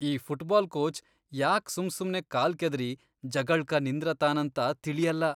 ಈ football coach ಯಾಕ್ ಸುಮ್ಸುಮ್ನೆ ಕಾಲ್ ಕೆದರಿ ಜಗಳ್ಕ ನಿಂದ್ರತಾನಂತ ತಿಳಿಯಲ್ಲಾ.